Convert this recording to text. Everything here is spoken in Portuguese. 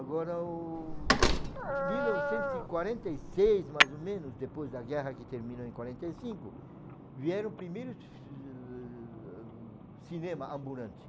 Agora, o mil novecentos e quarenta e seis, mais ou menos, depois da guerra que terminou em quarenta e cinco, vieram primeiros cinema ambulante.